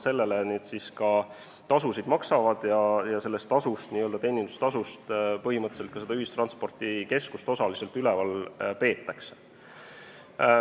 Need siis maksavad tasu ja osaliselt sellest teenindustasust põhimõtteliselt ka ühistranspordikeskust üleval peetakse.